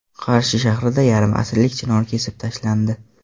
Qarshi shahrida yarim asrlik chinor kesib tashlandi.